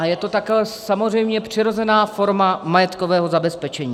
A je to také samozřejmě přirozená forma majetkového zabezpečení.